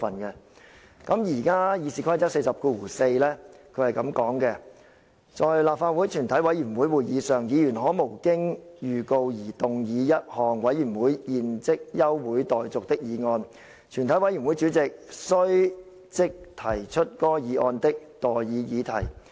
現時《議事規則》第404條訂明："在立法會全體委員會會議上，議員可無經預告而動議一項委員會現即休會待續的議案，全體委員會主席須即提出該議案的待議議題。